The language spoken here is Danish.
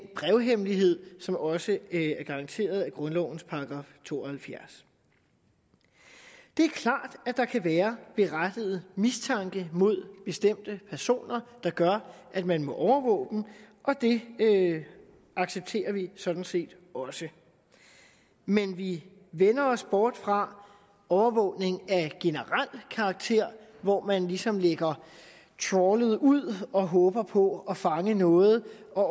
brevhemmelighed som også er garanteret af grundlovens § to og halvfjerds det er klart at der kan være berettiget mistanke mod bestemte personer der gør at man må overvåge dem og det accepterer vi sådan set også men vi vender os bort fra overvågning af generel karakter hvor man ligesom lægger trawlet ud og håber på at fange noget og